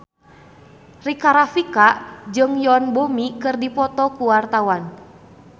Rika Rafika jeung Yoon Bomi keur dipoto ku wartawan